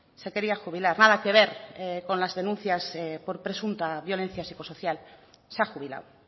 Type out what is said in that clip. se quería jubilar nada que ver con las denuncias por presunta violencia psicosocial se ha jubilado